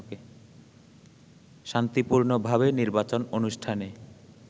শান্তিপূর্ণভাবে নির্বাচন অনুষ্ঠানে